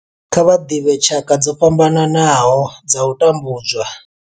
Kha vha ḓivhe tshaka dzo fhambanaho dza u tambudzwa.